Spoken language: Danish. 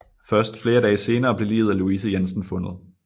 Først flere dage senere blev liget af Louise Jensen fundet